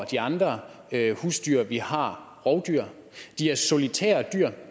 de andre husdyr vi har rovdyr de er solitære dyr